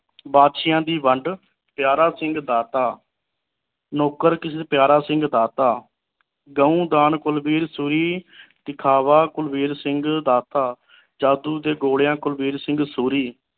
ਬਾਦਸ਼ਾਹੀਆਂ ਦੀ ਵੰਢ ਪਿਆਰਾ ਸਿੰਘ ਦਾਤਾ ਨੌਕਰ ਕਿਸ ਪਿਆਰਾ ਸਿੰਘ ਦਾਤਾ ਦਹੁਦਾਨ ਕੁਲਬੀਰ ਸੂਰੀ ਦਿਖਾਵਾ ਕੁਲਬੀਰ ਸਿੰਘ ਦਾਸਾ ਜਾਦੂ ਦੇ ਗੋਲਿਆਂ ਕੁਲਬੀਰ ਸਿੰਘ ਸੂਰੀ